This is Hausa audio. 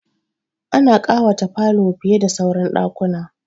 Ana ƙawata falo fiye da sauran ɗakuna.